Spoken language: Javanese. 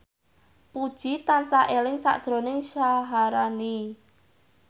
Puji tansah eling sakjroning Syaharani